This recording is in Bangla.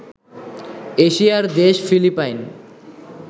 এশিয়া'র দেশ ফিলিপাইন